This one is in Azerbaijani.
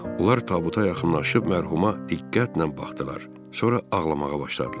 Onlar tabuta yaxınlaşıb mərhuma diqqətlə baxdılar, sonra ağlamağa başladılar.